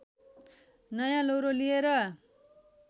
नयाँ लौरो लिएर